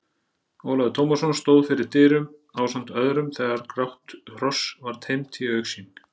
Ólafur Tómasson stóð fyrir dyrum ásamt öðrum þegar grátt hross var teymt í augsýn.